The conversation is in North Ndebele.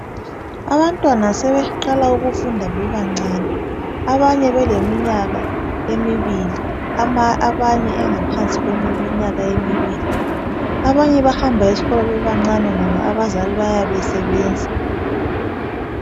Abantwana sebeqala ukufunda bebancane, abanye beleminyaka emibili, abanye engaphansi kweminyaka kwemibili, abanye bahamba esikolo bebancane ngobo abazali bayabe besebenza.